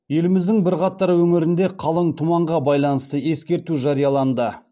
еліміздің бірқатар өңірінде қалың тұманға байланысты ескерту жарияланды